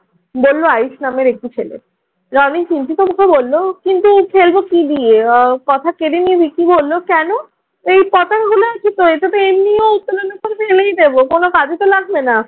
বলল আয়ুস নামের একটি ছেলে। রনি চিন্তিত মুখে বলল, কিন্তু ফেলবো কি দিয়ে? কথা কেড়ে নিয়ে ভিকি বললো কেনো? এই পতাকাগুলা কি প্রয়োজন? এটাতো এমনিও উত্তোলনের পরে ফেলেই দিবে। কোনো কাজেতো লাগবে না।